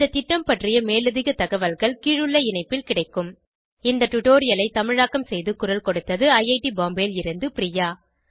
இந்த திட்டம் பற்றிய மேலதிக தகவல்கள் கீழுள்ள இணைப்பில் கிடைக்கும் இந்த டுடோரியலை தமிழாக்கம் செய்து குரல் கொடுத்தது ஐஐடி பாம்பேவில் இருந்து பிரியா